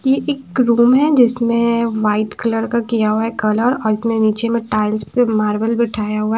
ये एक रूम है जिसमे वाइट कलर का किया हुआ है कलर जिसमे नीचे में टाइल्स से मार्बल बिठाया हुआ है।